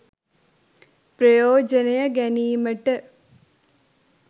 ප්‍රයෝජනය ගැනීමට